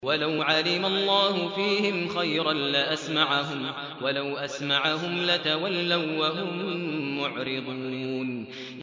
وَلَوْ عَلِمَ اللَّهُ فِيهِمْ خَيْرًا لَّأَسْمَعَهُمْ ۖ وَلَوْ أَسْمَعَهُمْ لَتَوَلَّوا وَّهُم مُّعْرِضُونَ